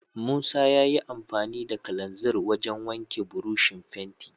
Musa yayi amfani da kalanzir wajen wanke burushin fenti.